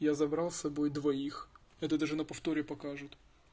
я забрал с собой двоих это даже на повторе покажут